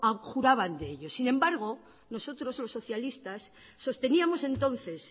abjuraban de ello sin embargo nosotros los socialistas sosteníamos entonces